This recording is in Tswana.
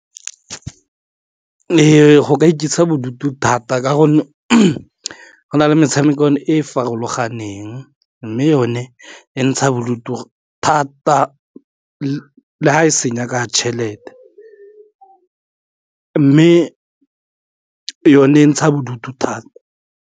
Go ka ikentsha bodutu thata ka gonne go na le metshamekwane e farologaneng mme yone e ntsha bodutu thata le ga e senya ka tšhelete mme yone ntsha bodutu thata.